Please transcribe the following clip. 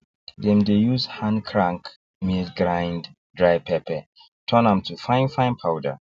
dem dey use hand crank mill grind dry pepper turn am to fine fine powder